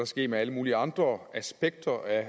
ske med alle mulige andre aspekter af